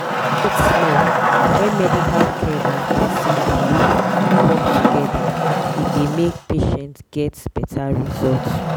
wait small when medical care and person belief work together e dey make patient get better result.